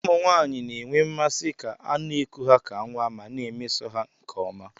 Ụmụ nwanyị na-enwe mmasị ka a na-eku ha ka nwa ma na-emeso ha nke ọma